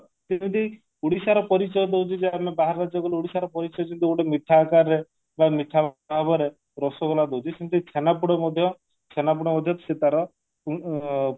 ସେମତି ଓଡିଶାର ପରିଚୟ କହୁଛି ଯେ ଆମେ ବାହାରେ ଯଉ ଗଲୁ ଓଡିଶାର ପରିଚୟ ସେମିତି ଗୋଟେ ମିଠା ଆକାରରେ ବା ମିଠା ଭାବରେ ରସଗୋଲା ଦଉଛି ସେମିତି ଛେନାପୋଡ ମଧ୍ୟ ଛେନାପୋଡ ମଧ୍ୟ ସେ ତାର ଉଁ